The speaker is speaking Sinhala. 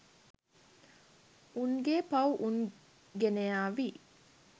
උන්ගේ පව් උන් ගෙනයාවි.